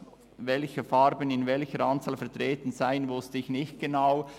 Welche Farben in welcher Anzahl vertreten sein werden, wusste ich nicht genau.